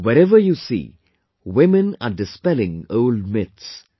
Wherever you see, women are dispelling old myths